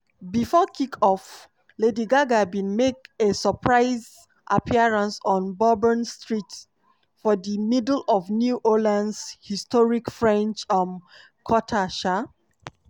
bifor kick-off lady gaga bin make a surprise appearance on bourbon street for di middle of new orleans' historic french um quarter. um